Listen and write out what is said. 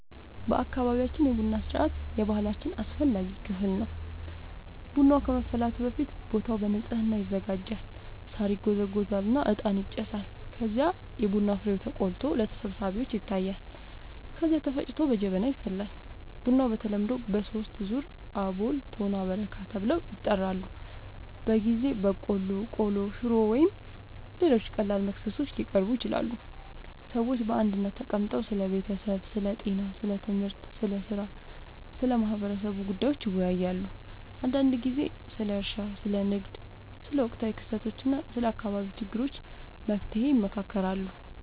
በአካባቢያችን የቡና ሥርዓት የባህላችን አስፈላጊ ክፍል ነው። ቡናው ከመፍላቱ በፊት ቦታው በንጽህና ይዘጋጃል፣ ሳር ይጎዘጎዛል እና እጣን ይጨሳል። ከዚያም የቡና ፍሬው ተቆልቶ ለተሰብሳቢዎች ይታያል፣ ከዚያ ተፈጭቶ በጀበና ይፈላል። ቡናው በተለምዶ በሦስት ዙር ይቀርባል፤ አቦል፣ ቶና እና በረካ ተብለው ይጠራሉበ ጊዜ በቆሎ፣ ቆሎ፣ ሽሮ ወይም ሌሎች ቀላል መክሰሶች ሊቀርቡ ይችላሉ። ሰዎች በአንድነት ተቀምጠው ስለ ቤተሰብ፣ ስለ ጤና፣ ስለ ትምህርት፣ ስለ ሥራ እና ስለ ማህበረሰቡ ጉዳዮች ይወያያሉ። አንዳንድ ጊዜ ስለ እርሻ፣ ስለ ንግድ፣ ስለ ወቅታዊ ክስተቶች እና ስለ አካባቢው ችግሮች መፍትሔ ይመካከራሉ